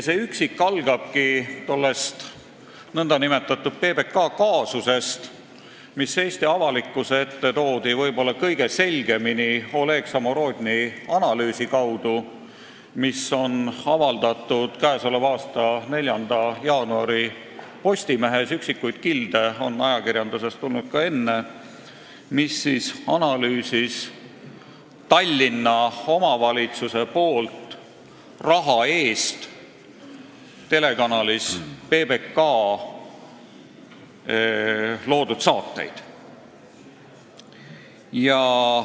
See üksik algab tollest nn PBK kaasusest, mis Eesti avalikkuse ette toodi ehk kõige selgemini k.a 4. jaanuari Postimehes avaldatud Oleg Samorodni analüüsi kaudu – üksikuid kilde on ajakirjandusest tulnud ka enne –, mis käsitles Tallinna omavalitsuse raha eest telekanalis PBK loodud saateid.